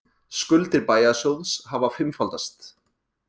Skuldir bæjarsjóðs hafa fimmfaldast